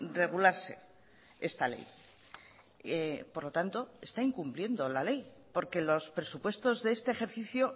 regularse esta ley por lo tanto está incumpliendo la ley porque los presupuestos de este ejercicio